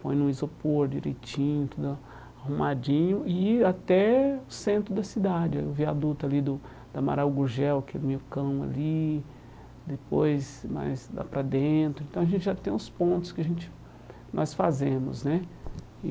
põe no isopor direitinho, tudo a arrumadinho, e até o centro da cidade, o viaduto ali do da Maraugugel, que é meio cão ali, depois mais lá para dentro, então a gente já tem os pontos que a gente, nós fazemos, né? E